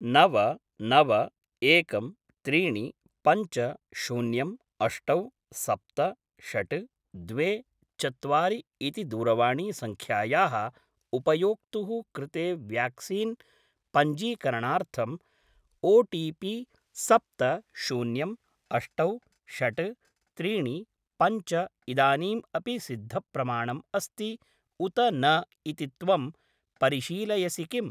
नव नव एकं त्रीणि पञ्च शून्यं अष्टौ सप्त षट् द्वे चत्वारि इति दूरवाणीसङ्ख्यायाः उपयोक्तुः कृते व्याक्सीन् पञ्जीकरणार्थं ओटिपि सप्त शन्यं अष्टौ षट् त्रीणि पञ्च इदानीम् अपि सिद्धप्रमाणम् अस्ति उत न इति त्वं परिशीलयसि किम्?